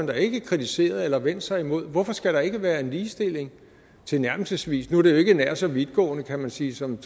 da ikke kritiseret eller vendt sig imod hvorfor skal der ikke være en ligestilling tilnærmelsesvis nu er jo ikke nær så vidtgående kan man sige som